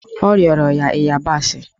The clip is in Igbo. O rịọrọ ya ịyabasị